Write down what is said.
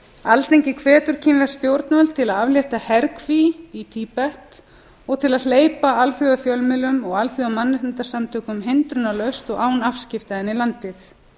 alþingi hvetur kínversk stjórnvöld til að aflétta herkví í tíbet og til að hleypa alþjóðafjölmiðlum og alþjóðamannréttindasamtökum hindrunarlaust og án afskipta inn í landið